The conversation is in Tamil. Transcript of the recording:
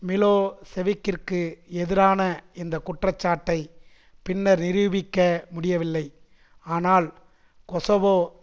மிலோசெவிக்கிற்கு எதிரான இந்த குற்றச்சாட்டை பின்னர் நிரூபிக்க முடியவில்லை ஆனால் கொசவோ